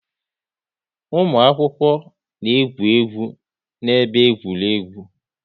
Ụmụ akwụkwọ na-egwu egwu n'ebe egwuregwu